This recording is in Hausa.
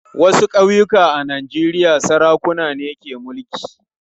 Wasu ƙauyuka a Najeriya sarakuna ne ke mulki.